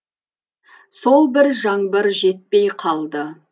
сол бір жаңбыр жетпей қалды